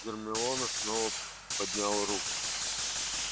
гермиона снова поднял руку